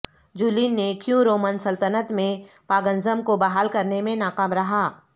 Julian نے کیوں Roman سلطنت میں پاگنزم کو بحال کرنے میں ناکام رہا